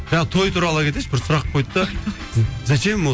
жаңа той туралы ала кетейінші бір сұрақ қойды да зачем ол